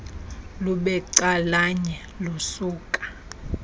lube calanye lusuka